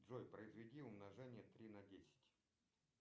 джой произведи умножение три на десять